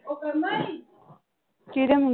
ਕਿਹਦੇ ਮੁੰ